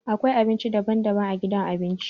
Akwai abinci daban-daban a gidan abinci.